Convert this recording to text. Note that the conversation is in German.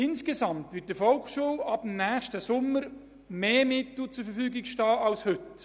Insgesamt werden der Volksschule ab nächstem Jahr mehr Mittel zur Verfügung stehen als heute.